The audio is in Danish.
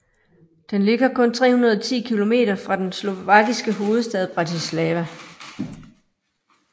Den ligger kun 310 kilometer fra den slovakiske hovedstad Bratislava